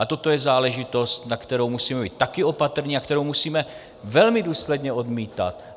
A toto je záležitost, na kterou musíme být taky opatrní a kterou musíme velmi důsledně odmítat.